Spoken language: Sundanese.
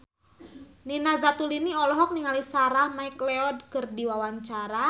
Nina Zatulini olohok ningali Sarah McLeod keur diwawancara